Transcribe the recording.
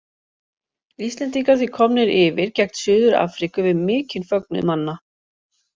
Íslendingar því komnir yfir gegn Suður Afríku við mikinn fögnuð manna.